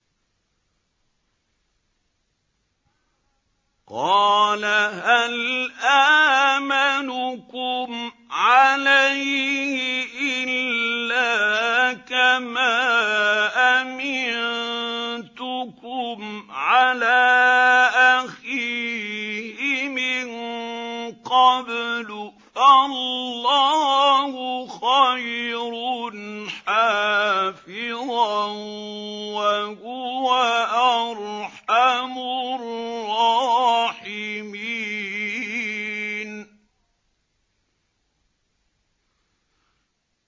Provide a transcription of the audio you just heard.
قَالَ هَلْ آمَنُكُمْ عَلَيْهِ إِلَّا كَمَا أَمِنتُكُمْ عَلَىٰ أَخِيهِ مِن قَبْلُ ۖ فَاللَّهُ خَيْرٌ حَافِظًا ۖ وَهُوَ أَرْحَمُ الرَّاحِمِينَ